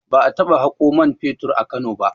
Ba a taɓa haƙo man fetur a Kano ba